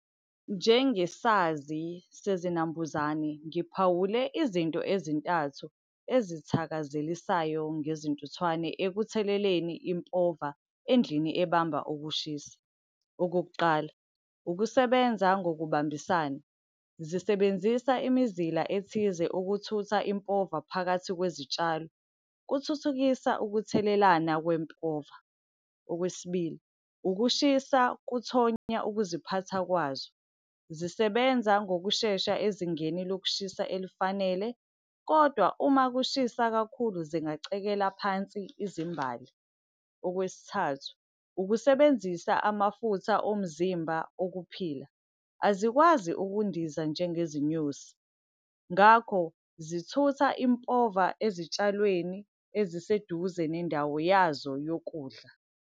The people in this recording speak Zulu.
Njengesazi sezinambuzane ngiphawule izinto ezintathu ezithakazelisayo ngezintuthwane ekutheleleni impova endlini ebamba ukushisa. Okokuqala, ukusebenza ngokubambisana, zisebenzisa imizila ethize ukuthutha impova phakathi kwezitshalo. Kuthuthukisa ukuthelelana kwempova. Okwesibili, ukushisa kuthonya ukuziphatha kwazo. Zisebenza ngokushesha ezingeni lokushisa elifanele, kodwa uma kushisa kakhulu zingacekela phansi izimbali. Okwesithathu, ukusebenzisa amafutha omzimba ukuphila. Azikwazi ukundiza njengezinyosi, ngakho zithutha impova ezitshalweni eziseduze nendawo yazo yokudla.